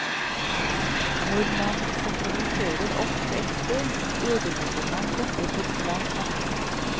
Når man sentraliserer alt på ett sted, ødelegger man dette for svært mange.